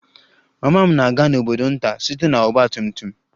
Mama m na-aga n'obodo nta site na ọgba tum tum